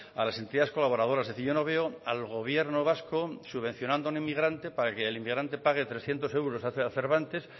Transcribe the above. a las entidades colaboradoras es decir yo no veo al gobierno vasco subvencionando a ningún inmigrante para que el inmigrante pague trescientos euros a cervantes